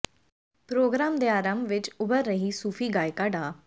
programme ਦੇ ਆਰੰਭ ਵਿਚ ਉਭਰ ਰਹੀ ਸੂਫੀ ਗਾਇਕਾ ਡਾ